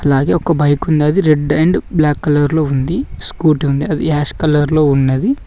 అలాగే ఒక బైక్ ఉన్నది రెడ్ అండ్ బ్లాక్ కలర్ లో ఉంది స్కూటీ ఉంది అది యాష్ కలర్ లో ఉన్నది.